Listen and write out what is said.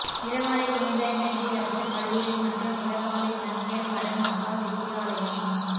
இளவாலை புனித ஹென்றியரசர் கல்லூரி மற்றும் இளவாலை கன்னியர் மடம் மகா வித்தியாலயம்